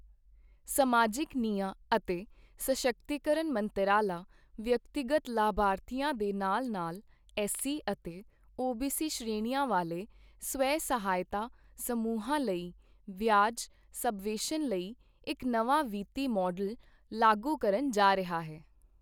ਸਮਾਜਿਕ ਨਿਆਂ ਅਤੇ ਸਸ਼ਕਤੀਕਰਨ ਮੰਤਰਾਲਾ ਵਿਅਕਤੀਗਤ ਲਾਭਾਰਥੀਆਂ ਦੇ ਨਾਲ ਨਾਲ ਐੱਸ ਸੀ ਅਤੇ ਓ ਬੀ ਸੀ ਸ਼੍ਰੇਣੀਆਂ ਵਾਲੇ ਸਵੈ ਸਹਾਇਤਾ ਸਮੂਹਾਂ ਲਈ ਵਿਆਜ ਸਬਵੈਂਸ਼ਨ ਲਈ ਇੱਕ ਨਵਾਂ ਵਿੱਤੀ ਮਾਡਲ ਲਾਗੂ ਕਰਨ ਜਾ ਰਿਹਾ ਹੈ